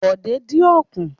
Bòdé dín ọ̀kùn.